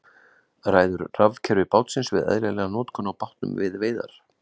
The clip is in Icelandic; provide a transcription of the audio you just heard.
Ræður rafkerfi bátsins við eðlilega notkun á bátnum við veiðar?